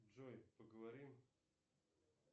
джой поговорим